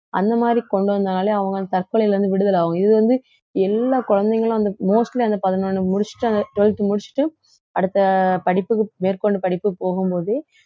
அந்த மாதிரி கொண்டு வந்தாலே அவங்க வந்து தற்கொலையில இருந்து விடுதல ஆகும் இது வந்து எல்லா குழந்தைகளும் அந்த mostly அந்த பதினொண்ணை முடிச்சிட்டு அந்த twelfth முடிச்சுட்டு அடுத்த படிப்புக்கு மேற்கொண்டு படிப்புக்கு போகும்போதே